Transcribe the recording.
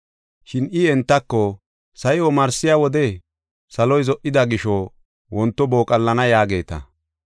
Shin I entako, “Sa7i omarsiya wode, ‘Saloy zo77ida gisho wonto booqallana’ yaageeta.